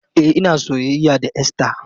E, ina soyayya da Esther.